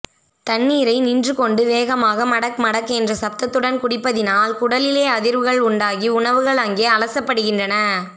தண்ணீரை நின்று கொண்டு வேகமாக மடக் மடக் கென்ற சப்தத்துடன் குடிப்பதினால் குடலிலே அதிர்வுகள் உண்டாகி உணவுகள் அங்கே அலசப்படுகின்றன